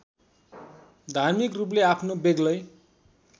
धार्मिकरूपले आफ्नो बेग्लै